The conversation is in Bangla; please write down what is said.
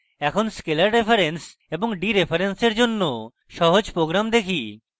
এখন scalar reference এবং ডিরেফারেন্সের জন্য সহজ program দেখি